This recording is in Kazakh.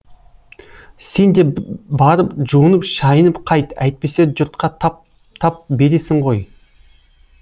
сен де барып жуынып шайынып қайт әйтпесе жұртқа тап тап бересің ғой